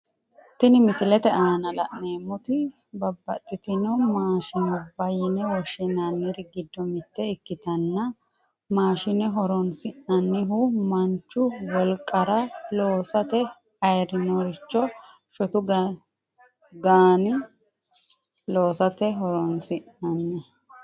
Tinni misilete aanna la'neemoti babbaxitino maashinubba yine woshinnanniri gido mite ikitanna maashinne horoonsi'nannihu manchu wolqara loosate ayirinoricho shotu ganni loosate horoonsi'nanni.